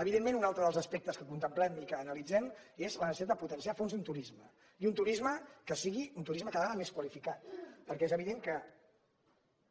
evidentment un altre dels aspectes que contemplem i que analitzem és la necessitat de potenciar a fons un turisme i un turisme que sigui cada vegada més qua·lificat perquè és evident que